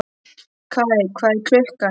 Kaj, hvað er klukkan?